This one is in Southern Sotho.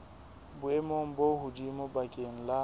boemong bo hodimo bakeng la